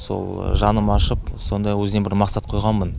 сол жаным ашып сондай өзіме бір мақсат қойғанмын